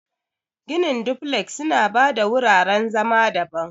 Ginin duflek suna ba da wuraren zama daban.